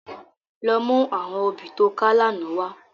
Lò mú áwòn óbì tó ká làná wá